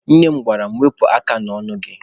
Nne m gwara mụ, Wepụ aka n'ọnụ gị!